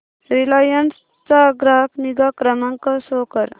Reliance चा ग्राहक निगा क्रमांक शो कर